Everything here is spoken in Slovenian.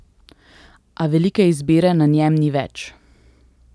A veliko izbire na njem ni več.